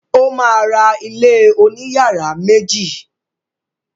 O ma ra ilé òní yàrá méjì.